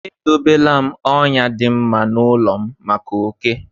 E dobe la m ọnyà dị mma n’ụlọ m maka oké.